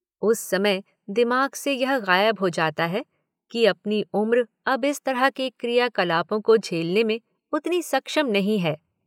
उस समय दिमाग से यह गायब हो जाता है कि अपनी उम्र अब इस तरह के क्रिया कलापों को झेलने में उतनी सक्षम नहीं है।